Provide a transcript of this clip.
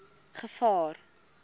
gevaar